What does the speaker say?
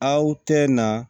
Aw tɛ na